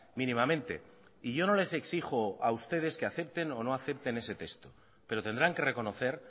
mínimamente y yo no les exijo a ustedes que acepten o no acepten ese texto pero tendrán que reconocer